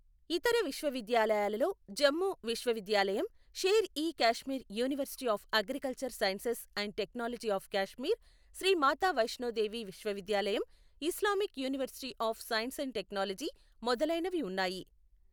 ఇతర విశ్వవిద్యాలయాలలో జమ్మూ విశ్వవిద్యాలయం, Sher e Kashmir university of agricultural sciences and technology of Kashmir, Shri Mata Vaishno Devi విశ్వవిద్యాలయం, Islamic university of science and technology మొదలైనవి ఉన్నాయి.